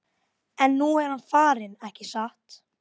En nú er hann farinn, ekki satt?